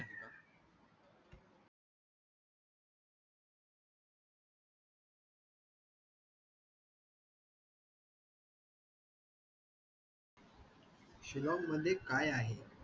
शिलाँग मध्ये काय आहे